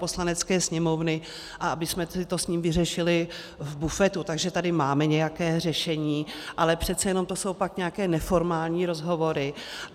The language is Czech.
Poslanecké sněmovny a abychom si to s ním vyřešili v bufetu, takže tady máme nějaké řešení, ale přece jenom to jsou pak nějaké neformální rozhovory.